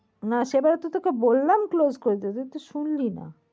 না সেবার তো তোকে বললাম close করে দিতে তুই তো শুনলি না।